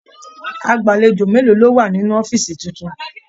Agbalejo mélòó lọ wá nínú ọ̀fiísí títún?